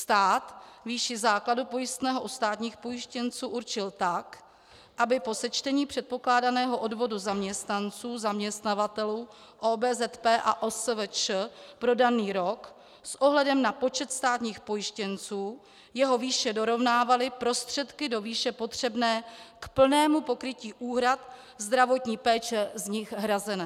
Stát výši základu pojistného u státních pojištěnců určil tak, aby po sečtení předpokládaného odvodu zaměstnanců, zaměstnavatelů, OBZP a OSVČ pro daný rok s ohledem na počet státních pojištěnců jeho výše dorovnávaly prostředky do výše potřebné k plnému pokrytí úhrad zdravotní péče z nich hrazené.